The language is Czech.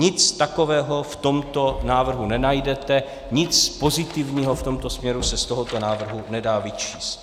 Nic takového v tomto návrhu nenajdete, nic pozitivního v tomto směru se z tohoto návrhu nedá vyčíst.